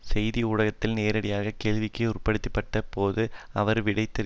செய்தி ஊடகத்தால் நேரடியாக கேள்விக்கு உட்படுத்தப்பட்ட போது அவர் விடையிறுத்தார்